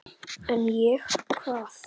En ég, hvað?